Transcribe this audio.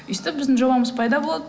өстіп біздің жобамыз пайда болды